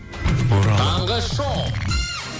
таңғы шоу